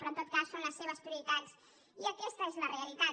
però en tot cas són les seves prioritats i aquesta és la realitat